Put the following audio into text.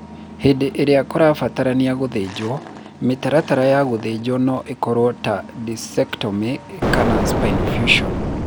Hĩndĩ ĩrĩa kũbatarania gũthĩnjwo, mĩtaratara ya gũthĩnjwo no ĩkorũo ta discectomy kana spinal fusion.